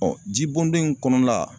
Ɔ ji bɔndon in kɔnɔ la